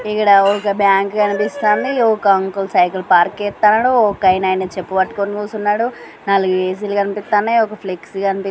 ఇక్కడ ఒక బ్యాంక్ కు కనిపిస్తంది ఒక అంకుల్ సైకిల్ పార్క్ చేస్తాండు ఒకాయన చెప్పు పట్టుకొని కూసున్నాడు నాలుగు ఏ_సి కనిపిన్నయి ఒక ఫ్లెక్సీ కనిపిస్తుంది.